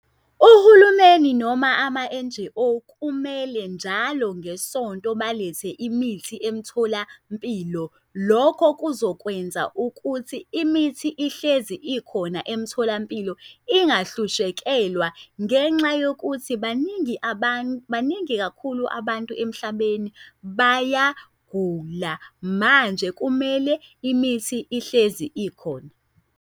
Uhulumeni noma ama-N_G_O kumele njalo ngesonto balethe imithi emtholampilo. Lokho kuzokwenza ukuthi imithi ihlezi ikhona emtholampilo ingahlushekelwa, ngenxa yokuthi baningi abantu, baningi kakhulu abantu emhlabeni bayagula, manje kumele imithi ihlezi ikhona.